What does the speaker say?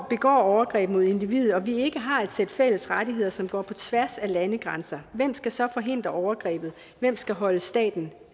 begår overgreb mod individet og vi ikke har et sæt fælles rettigheder som går på tværs af landegrænser hvem skal så forhindre overgrebet hvem skal holde staten